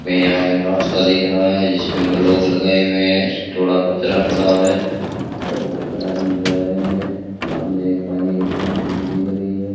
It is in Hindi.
मैं यहां एक रास्ता देख रहा है जिसपे ब्लॉक लगाए हुए हैं थोड़ा कचड़ा पड़ा हुआ है और कुछ आदमी जा रहे हैं सामने एक पानी की टंकी भी दिख रही है।